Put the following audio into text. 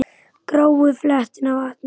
Gráu fletina vanti.